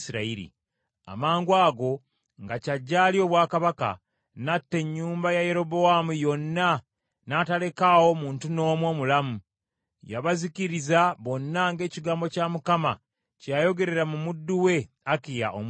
Amangwago nga kyajje alye obwakabaka, n’atta ennyumba ya Yerobowaamu yonna n’atalekaawo muntu n’omu omulamu. Yabazikiriza bonna ng’ekigambo kya Mukama kye yayogerera mu muddu we Akiya Omusiiro,